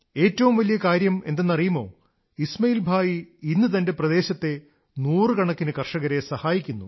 ഏറ്റവും വലിയ കാര്യമെന്തെന്നറിയുമോ ഇസ്മാഇൽ ഭായി ഇന്ന് തന്റെ പ്രദേശത്തെ നൂറുകണക്കിന് കർഷകരെ സഹായിക്കുന്നു